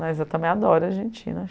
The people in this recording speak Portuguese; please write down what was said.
Mas eu também adoro a Argentina.